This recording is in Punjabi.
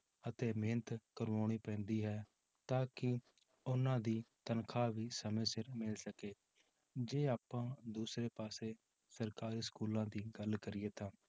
ਅਤੇ ਮਿਹਨਤ ਕਰਵਾਉਣੀ ਪੈਂਦੀ ਹੈ, ਤਾਂ ਕਿ ਉਹਨਾਂ ਦੀ ਤਨਖਾਹ ਵੀ ਸਮੇਂ ਸਿਰ ਮਿਲ ਸਕੇ, ਜੇ ਆਪਾਂ ਦੂਸਰੇ ਪਾਸੇ ਸਰਕਾਰੀ schools ਦੀ ਗੱਲ ਕਰੀਏ ਤਾਂ